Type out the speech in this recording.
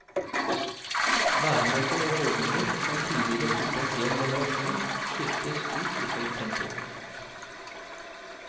Væremåter og holdninger som tidligere fulgte en hel generasjon, skiftes ut i høyt tempo.